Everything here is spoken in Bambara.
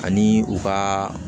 Ani u ka